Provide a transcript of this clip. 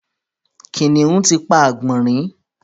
Kìnìún ti pa àgbònrín